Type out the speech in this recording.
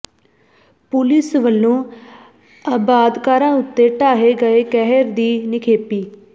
police ਵੱਲੋਂ ਆਬਾਦਕਾਰਾਂ ਉੱਤੇ ਢਾਹੇ ਗਏ ਕਹਿਰ ਦੀ ਨਿਖੇਧੀ